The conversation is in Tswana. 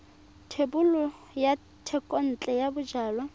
thebolo ya thekontle ya bojalwa